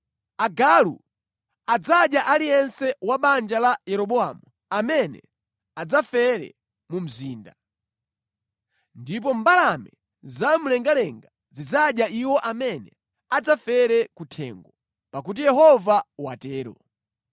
Agalu adzadya aliyense wa banja la Yeroboamu amene adzafere mu mzinda, ndipo mbalame zamlengalenga zidzadya iwo amene adzafere ku thengo, pakuti Yehova watero!’